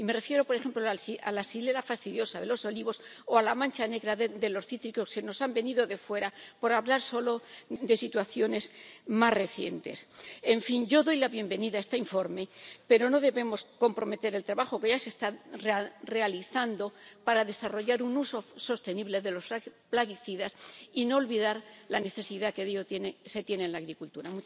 Y me refiero, por ejemplo, a la Xylella fastidiosa de los olivos o a la mancha negra de los cítricos, que nos han venido de fuera, por hablar solo de situaciones más recientes. En fin, yo doy la bienvenida a este informe, pero no debemos comprometer el trabajo que ya se está realizando para desarrollar un uso sostenible de los plaguicidas, ni olvidar la necesidad que de ellos se tiene en la agricultura.